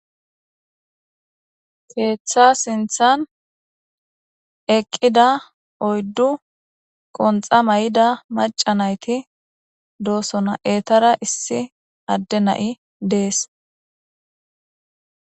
Keeththa sinthan eqida oyddu asati de"osona izetikka qonxa gixida izeta gidon issi adey des